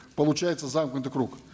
получается замкнутый круг